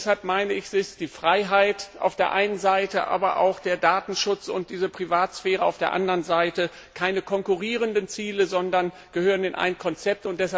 Deshalb sind die Freiheit auf der einen Seite und der Datenschutz und die Privatsphäre auf der anderen Seite keine konkurrierenden Ziele, sondern gehören in ein Konzept.